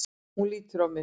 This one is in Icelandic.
Hún lítur á mig.